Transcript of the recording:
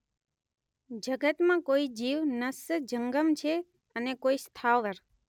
જગતમાં કોઈ જીવ ન્નસ જંગમ છે અને કોઈ સ્થાવર.